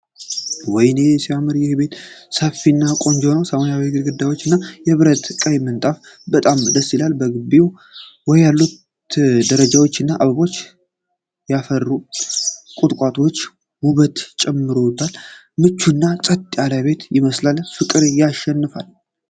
ወይኔ! ሲያምር! ይህ ቤት ሰፊ እና ቆንጆ ነው። የሰማያዊ ግድግዳው እና የብረት ቀይ ጣሪያው በጣም ደስ ይላል። በግቢው ውስጥ ያሉት ደረጃዎች እና አበባ ያፈሩት ቁጥቋጦዎች ውበትን ጨምረውለታል። ምቹና ጸጥ ያለ ቤት ይመስላል። ፍቅር ያሸንፋል!